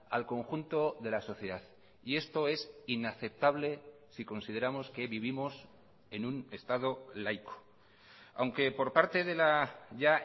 al conjunto de la sociedad y esto es inaceptable si consideramos que vivimos en un estado laico aunque por parte de la ya